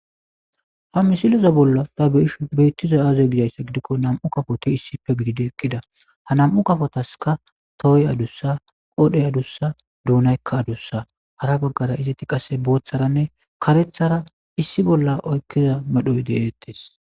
Ha misileza bolla ta be'ishin beetizay aaze gizayssa gidiko nam'u kafoti issippe gididi eqqida ha nam'u kafotaska tohoy adussa qoodhey adussa duunayka adussa hara baggara izeti qase bootharanne karethara issi bolla oykida medho gidetes.